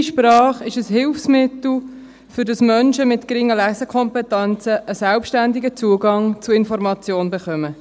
Die «leichte Sprache» ist ein Hilfsmittel, damit Menschen mit geringen Lesekompetenzen einen selbstständigen Zugang zu Informationen erhalten.